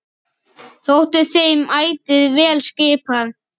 Þótti þeim ætíð vel skipað.